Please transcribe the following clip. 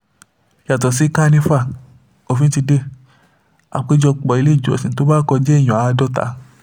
yàtọ̀ sí kànìfà òfin ti dé àpéjọpọ̀ iléèjọsìn tó bá kọjá èèyàn àádọ́ta